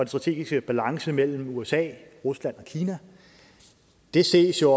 strategiske balance mellem usa rusland og kina det ses jo